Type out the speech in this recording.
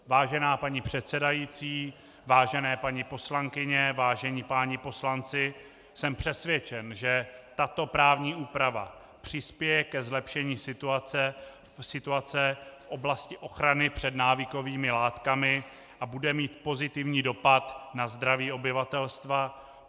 Vážená paní předsedající, vážené paní poslankyně, vážení páni poslanci, jsem přesvědčen, že tato právní úprava přispěje ke zlepšení situace v oblasti ochrany před návykovými látkami a bude mít pozitivní dopad na zdraví obyvatelstva.